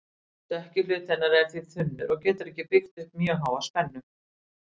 Stökki hluti hennar er því þunnur og getur ekki byggt upp mjög háa spennu.